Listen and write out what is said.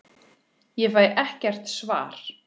Ég fæ ekkert svar.